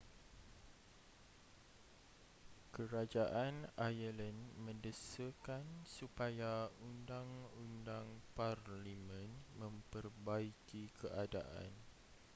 kerajaan ireland mendesakan supaya undang-undang parlimen memperbaiki keadaan